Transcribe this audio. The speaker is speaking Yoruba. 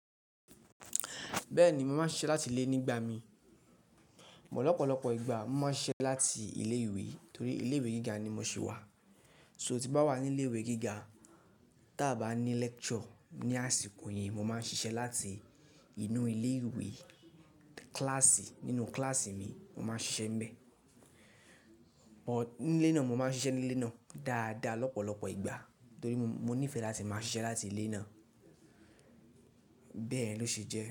Bẹ́ẹ̀ni, mo máa ń ṣiṣẹ́ láti ilé nígbà mi. Mọ̀ọ́ lọ́pọ̀lọpọ̀ ìgbà, mo máa ń ṣiṣẹ́ láti ilé-ìwé torí ilé-ìwé gíga ni mo ṣi wà. So tí bá wà ní ilé-ìwé gíga ta bá ní lecture ní àsìkò yẹn, mo máa ń ṣiṣẹ́ láti inú ilé-ìwé kíláàsì nínú kíláàsì mi, mo máa ń ṣiṣẹ́ níbẹ̀. But nílé náà, mo máa ń ṣiṣẹ́ nílé náà dáadáa lọ́pọ̀lọpọ̀ ìgbà torí mo nífẹ̀ẹ́ láti máa ṣiṣẹ́ láti ilé náà. Bẹ́ẹ̀ ló ṣe jẹ́